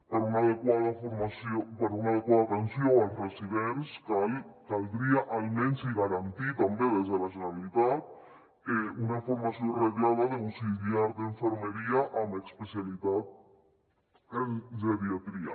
per una adequada atenció als residents caldria almenys garantir també des de la generalitat una formació reglada d’auxiliar d’infermeria amb especialitat en geriatria